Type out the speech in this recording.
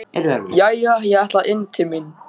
Jæja, ég ætla inn til mín.